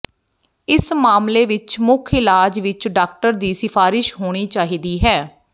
ਇਸ ਮਾਮਲੇ ਵਿਚ ਮੁੱਖ ਇਲਾਜ ਵਿਚ ਡਾਕਟਰ ਦੀ ਸਿਫਾਰਿਸ਼ ਹੋਣੀ ਚਾਹੀਦੀ ਹੈ